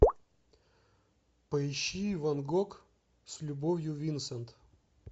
поищи ван гог с любовью винсент